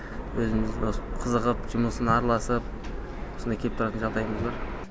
өзіміз осы қызығып жұмысына араласып осындай кеп тұратын жағдайымыз бар